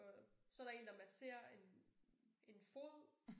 Og så der én der masserer en en fod